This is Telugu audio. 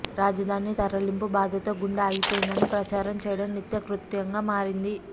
రాజదాని తరలింపు బాదతో గుండె ఆగిపోయిందని ప్రచారం చేయడం నిత్య కృత్యంగా మారింది